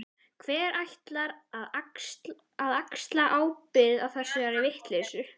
Hver ætlar að axla ábyrgð á þessari vitleysu?